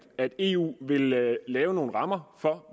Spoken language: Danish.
at eu vil lave lave nogle rammer for